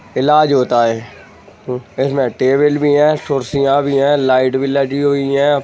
इलाज होता है इस मे टेबल भी है कुर्सियाँ भी है लाइट भी लगी हुई है।